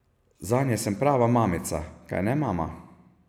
Zanje sem prava mamica, kajne, mama?